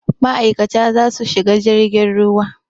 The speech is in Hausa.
Ma'aikata za su shiga jirgin ruwa.